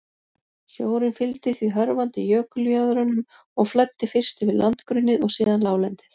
Sjórinn fylgdi því hörfandi jökuljöðrunum og flæddi fyrst yfir landgrunnið og síðan láglendið.